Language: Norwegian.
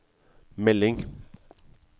melding